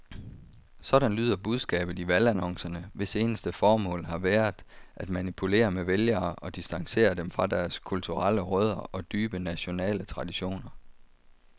Sådan lyder budskabet i valgannoncerne, hvis eneste formål har været at manipulere med vælgere og distancere dem fra deres kulturelle rødder og dybe nationale traditioner.